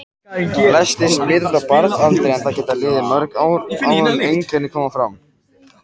Flestir smitast á barnsaldri en það geta liðið mörg ár áður en einkenni koma fram.